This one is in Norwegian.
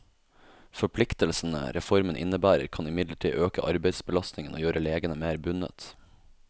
Forpliktelsene reformen innebærer, kan imidlertid øke arbeidsbelastningen og gjøre legene mer bundet.